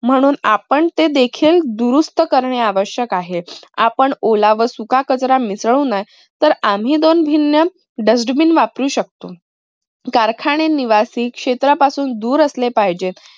म्हणून आपण ते देखील दुरुस्त करणे आवश्यक आहे. आपण ओला व सुका कचरा मिसळू नये तर आम्ही दोन भिन्न dust bin वापरू शकतो. कारखाने निवासी क्षेत्रापासून दूर असले पाहिजेत.